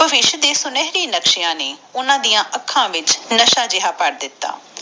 ਭਵਿਸ਼ ਦੇ ਸੁਨਹਿਰੀ ਸੁਪਨਿਆਂ ਨੇ ਓਹਨਾ ਡਾ ਅੱਖਾਂ ਵਿਚ ਨਸ਼ਾ ਜਾ ਭਰ ਦਿਤਾ